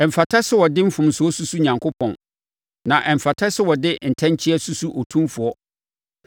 Ɛmfata sɛ wɔde mfomsoɔ susu Onyankopɔn, na ɛmfata sɛ wɔde ntɛnkyea susu Otumfoɔ.